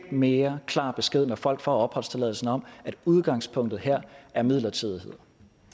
mere klar besked når folk får opholdstilladelsen om at udgangspunktet her er midlertidighed